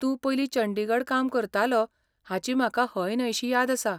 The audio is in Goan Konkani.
तूं पयलीं चंडीगढ काम करतालो हाची म्हाका हयन्हयशी याद आसा.